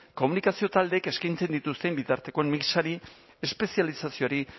komunikazio taldeek eskaintzen dituzten bitartekoen mixari espezializazioari